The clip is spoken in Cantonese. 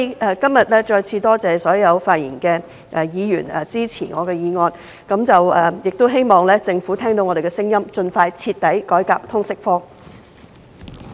我再次多謝今天所有發言的議員支持我的議案，亦希望政府聽到我們的聲音，盡快徹底改革通識科。